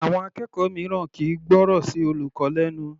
Àwọn Akẹ́kọ̀ọ́ mìíràn kìí gbọ́rọ̀ sí olùkọ́ lẹnu.